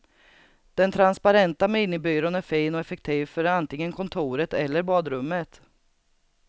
Den transparenta minibyrån är fin och effektiv för antingen kontoret eller badrummet.